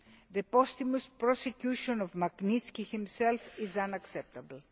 The posthumous prosecution of Magnitsky himself is unacceptable.